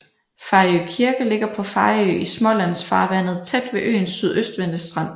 Fejø Kirke ligger på Fejø i Smålandsfarvandet tæt ved øens sydøstvendte strand